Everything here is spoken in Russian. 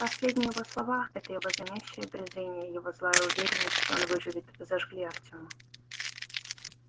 последние его слова это его звенящее презрение его злая уверенность что он выживет зажгли артема